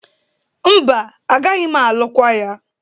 Mba, agaghị m alụkwa ya.